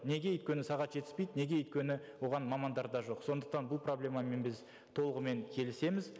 неге өйткені сағат жетіспейді неге өйткені оған мамандар да жоқ сондықтан бұл проблемамен біз толығымен келісеміз